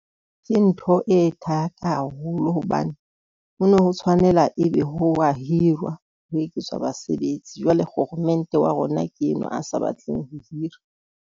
Ke ntho e thata haholo hobane ho no ho tshwanela, ebe ho a hirwa, ho eketswa basebetsi. Jwale kgoromente wa rona ke enwa a sa batleng ho hira.